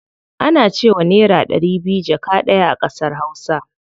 Ana cewa naira ɗari biyu jaka ɗaya a ƙasar hausa.